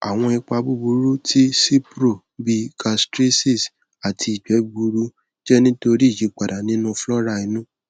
awọn ipa buburu ti cipro bii gastritis ati igbe gbuuru jẹ nitori iyipada ninu flora inu